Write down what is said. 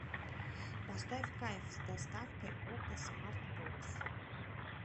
поставь кайф с доставкой окко смарт бокс